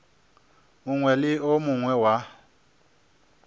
mongwe le o mongwe wa